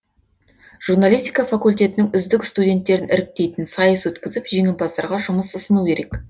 журналистика факультетінің үздік студенттерін іріктейтін сайыс өткізіп жеңімпаздарға жұмыс ұсыну керек